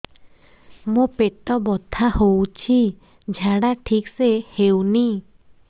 ମୋ ପେଟ ବଥା ହୋଉଛି ଝାଡା ଠିକ ସେ ହେଉନି